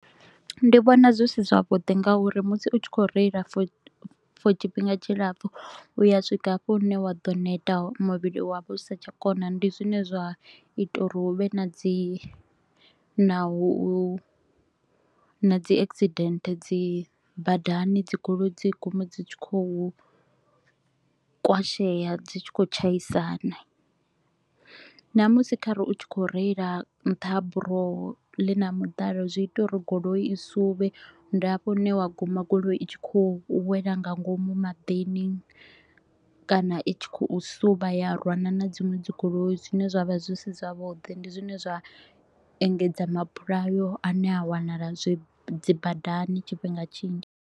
Ndi vhona zwi si zwavhuḓi ngauri musi u tshi kho u reila for tshifhinga tshilapfu u a swika hafho hune wa ḓo neta hone, muvhili wa vha u sa tsha kona. Ndi zwine zwa ita u ri hu vhe na dzi na u na dzi accident dzi badani, dzigoloi dzi gume dzi tshi kho u kwashea, dzi tshi kho u tshaisana. Namusi kha re u tshi kho u reila nṱha ha buroho ḽi na miḓalo, zwi ita u ri goloi i suvhe, ndi hafho hune wa guma goloi i tshi kho u wela nga ngomu maḓini kana i tshi kho u suvha ya rwana na dziṅwe dzigoloi zwine zwa vha zwi si zwavhuḓi. Ndi zwine zwa engedza mabulayo a ne a wanala dzibadani tshifhinga tshinzhi.